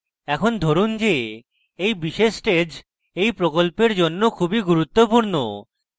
এখন ধরুন যে এই বিশেষ stage এই প্রকল্পের জন্য খুবই গুরুত্বপূর্ণ